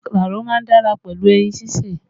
Màkàró má ń dára pẹ̀lú ẹyin sísè